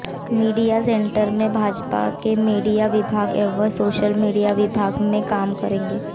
media centre में भाजपा के media विभाग एवं सोशल मीडिया विभाग काम करेंगे